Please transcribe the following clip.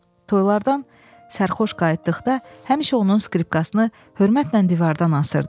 Toylardan sərxoş qayıtdıqda həmişə onun skripkasını hörmətlə divardan asırdı.